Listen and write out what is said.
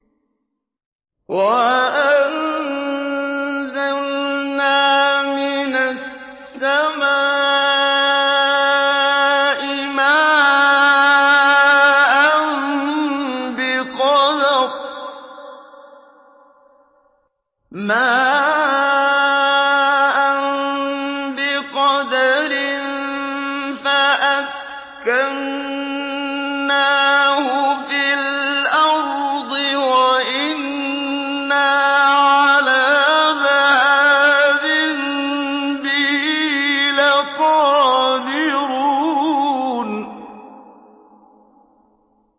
وَأَنزَلْنَا مِنَ السَّمَاءِ مَاءً بِقَدَرٍ فَأَسْكَنَّاهُ فِي الْأَرْضِ ۖ وَإِنَّا عَلَىٰ ذَهَابٍ بِهِ لَقَادِرُونَ